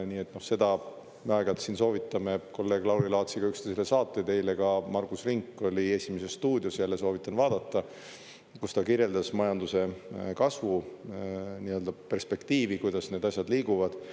Me aeg-ajalt siin soovitame kolleeg Lauri Laatsiga üksteisele saateid, eile ka Margus Rink oli "Esimeses stuudios" – jälle soovitan vaadata –, kus ta kirjeldas majanduse kasvu perspektiivi, kuidas need asjad liiguvad.